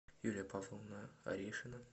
юлия павловна орешина